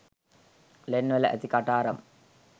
ලෙන්වල ඇති කටාරම්